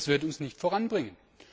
Das wird und nicht voranbringen.